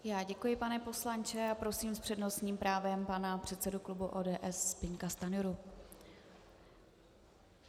Já děkuji, pane poslanče, a prosím s přednostním právem pana předsedu klubu ODS Zbyňka Stanjuru.